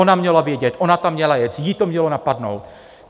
Ona měla vědět, ona tam měla jet, ji to mělo napadnout.